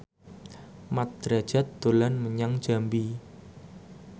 Mat Drajat dolan menyang Jambi